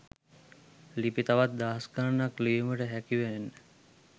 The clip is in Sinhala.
ලිපි තවත් දහස් ගණනක් ලිවීමට හැකිවෙන්න